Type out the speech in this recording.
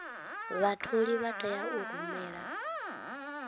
vhatholi vha tea u rumela